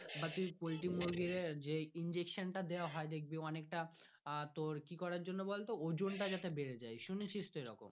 বা তুই পোল্টি মুরগির যে injection দেয়া হয় দেখবি অনেকটা আহ তোর কি করার জন্য বলতো ওজন টা যাতে বেড়ে যাই। শুনেছিস তো এরকম।